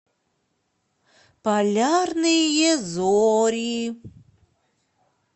полярные зори